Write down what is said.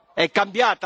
Povera Italia!